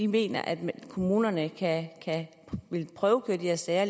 mener at kommunerne vil prøvekøre de her sager